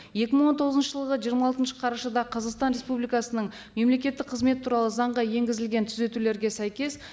екі мың он тоғызыншы жылғы жиырма алтыншы қарашада қазақстан республикасының мемлекеттік қызмет туралы заңға енгізілген түзетулерге сәйкес